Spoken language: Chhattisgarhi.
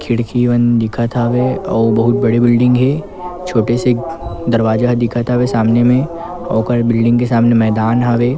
खिड़की मन दिखत हवे और बहुत बड़े बिल्डिंग हे छोटे से दरवाजा ह दिखत सामने में ओकर बिल्डिंग के सामने मैदान हवे ।